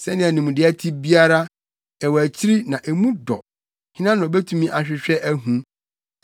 Sɛnea nimdeɛ te biara, ɛwɔ akyiri na emu dɔ, hena na obetumi ahwehwɛ ahu?